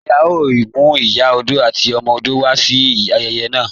Njẹ́ à yòò mú Ìyà ọdọ̀ àti ọmọ ọdọ̀ wá lọ sí ayèyè naa?